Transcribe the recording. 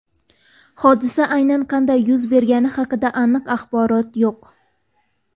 Hodisa aynan qanday yuz bergani haqida aniq axborot yo‘q.